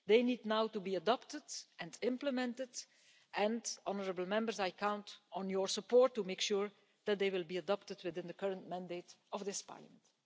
They now need to be adopted and implemented and, honourable Members, I count on your support to make sure that they will be adopted within the current mandate of this Parliament.